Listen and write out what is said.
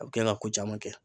A bi kɛ ka ko caman kɛ.